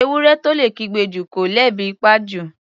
Ewúrẹ́ tó lè kígbe jù, kọ́ lebi ńpa jù.